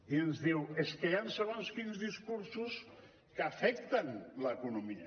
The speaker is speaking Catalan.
i ens diu és que hi han segons quins discursos que afecten l’economia